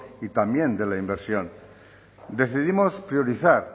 y también de la inversión decidimos priorizar